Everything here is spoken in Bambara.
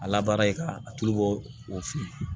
A labaara ye ka a tulu bɔ o fɛ yen